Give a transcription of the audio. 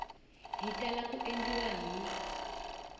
yi tala ku endliwa hi